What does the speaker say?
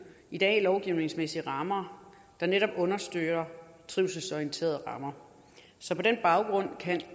i dag findes lovgivningsmæssige rammer der netop understøtter trivselsorienterede rammer så på den baggrund kan